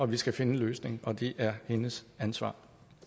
vi skal finde en løsning og det er hendes ansvar